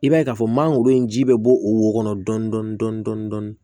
I b'a ye k'a fɔ mangoro in ji bɛ bɔ o wo kɔnɔ dɔɔnin dɔɔnin